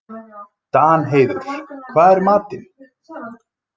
Danheiður, hvað er í matinn?